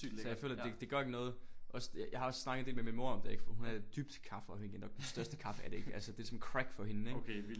Så jeg føler det det gør ikke noget også jeg har også snakket en del med min mor om det ik for hun er dybt kaffeafhængig nok den største kaffe addict altså det er som crack for hende ik